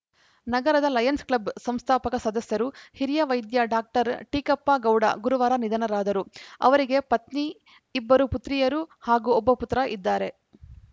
ನಗರದ lions club ಸಂಸ್ಥಾಪಕ ಸದಸ್ಯರು ಹಿರಿಯ ವೈದ್ಯ ಡಾಕ್ಟರ್ ಟೀಕಪ್ಪ ಗೌಡ ಗುರುವಾರ ನಿಧನರಾದರು ಅವರಿಗೆ ಪತ್ನಿ ಇಬ್ಬರು ಪುತ್ರಿಯರು ಹಾಗೂ ಒಬ್ಬ ಪುತ್ರ ಇದ್ದಾರೆ